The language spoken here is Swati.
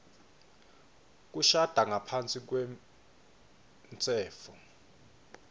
kushada ngaphasi kwemtsetfo